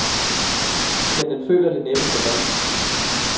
Men den føler det næppe sådan.